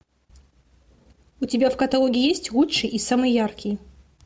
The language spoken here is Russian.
у тебя в каталоге есть лучший и самый яркий